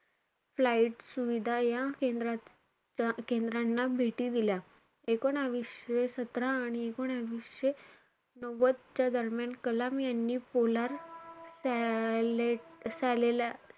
Flight सुविधा या केंद्राचा केंद्रांना भेटी दिल्या. एकोणवीसशे सतरा आणि एकोणवीसशे नव्वदच्या दरम्यान कलाम यांनी polar साले~ सालेलाईट,